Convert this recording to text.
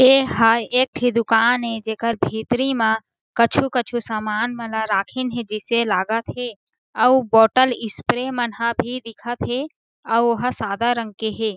ए हा एक ठी दुकान हे जेकर भीतरी मा कछु-कछु सामान मन ल राखिन हे जिसे लागत हे अउ बोतल स्प्रे मन ह भी दिखत हे अउ वो ह सादा रंग के हे।